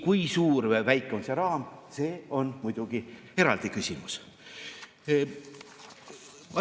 Kui suur või väike on see raam, on muidugi eraldi küsimus.